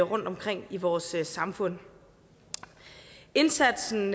rundtomkring i vores samfund indsatsen